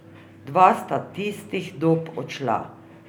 Dva sta tistihdob odšla.